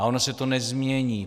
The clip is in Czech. A ono se to nezmění.